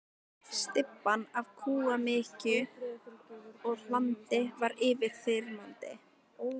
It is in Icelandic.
Stybban af kúamykju og hlandi var yfirþyrmandi.